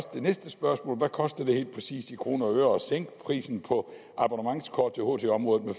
det næste spørgsmål hvad koster det helt præcis i kroner og øre at sænke prisen på abonnementskort i ht området med